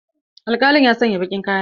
Alkalin ya sanya baƙin kaya.